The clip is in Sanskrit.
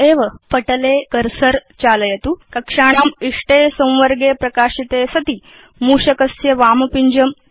पटले सर्वत्र कर्सर चालयतु कक्षाणाम् इष्टे संवर्गे प्रकाशिते सति मूषकस्य वामपिञ्जं त्यजतु